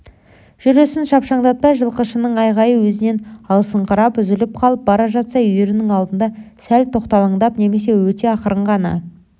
жүрісін шапшаңдатпай жылқышының айғайы өзінен алыстаңқырап үзіліп қалып бара жатса үйірінің алдында сәл тоқталаңдап немесе өте ақырын ғана